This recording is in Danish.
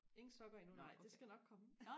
ingen sokker endnu nej det skal nok komme